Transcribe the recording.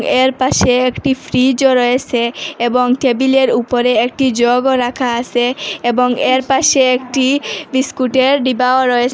এর পাশে একটি ফ্রিজও রয়েছে এবং টেবিলের উপরে একটি জগও রাখা আছে এবং এর পাশে একটি বিস্কুটের ডিব্বাও রয়ে--